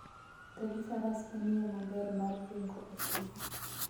Wuotho gi faras en yo maber mar ringo e thim.